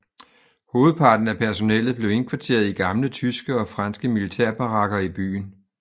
Hovedparten af personellet blev indkvarteret i gamle tyske og franske militærbarakker i byen